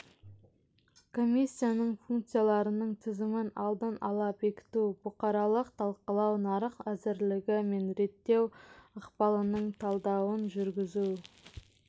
комиссияның функцияларының тізімін алдын ала бекіту бұқаралық талқылау нарық әзірлігі мен реттеу ықпалының талдауын жүргізу